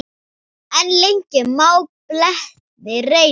En lengi má beltin reyna.